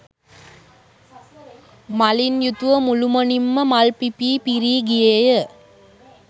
මලින් යුතුව මුළුමනින් ම මල් පිපී පිරී ගියේ ය.